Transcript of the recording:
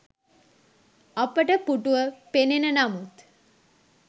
අපට පුටුව පෙනෙන නමුත්